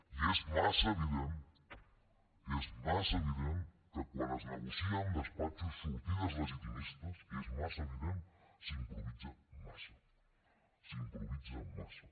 i és massa evident és massa evident que quan es negocia en despatxos sortides legitimistes és massa evident s’improvisa massa s’improvisa massa